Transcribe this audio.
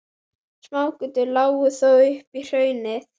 Smágötur lágu þó upp í hraunið.